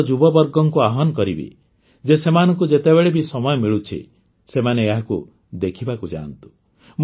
ମୁଁ ଆମର ଯୁବବର୍ଗକୁ ଆହ୍ୱାନ କରିବି ଯେ ସେମାନଙ୍କୁ ଯେତେବେଳେ ବି ସମୟ ମିଳୁଛି ସେମାନେ ଏହାକୁ ଦେଖିବାକୁ ଯାଆନ୍ତୁ